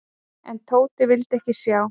En Tóti vildi ekki sjá.